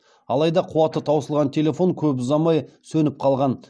алайда қуаты таусылған телефон көп ұзамай сөніп қалған